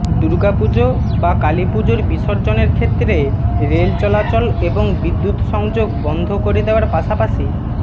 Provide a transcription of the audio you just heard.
দুর্গাপুজো বা কালীপুজোর বিসর্জনের ক্ষেত্রে রেল চলাচল এবং বিদ্যুৎ সংযোগ বন্ধ করে দেওয়ার পাশাপাশি